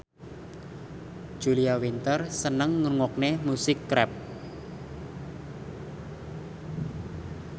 Julia Winter seneng ngrungokne musik rap